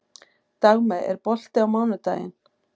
Dagmey, er bolti á mánudaginn?